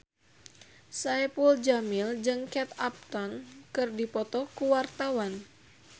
Saipul Jamil jeung Kate Upton keur dipoto ku wartawan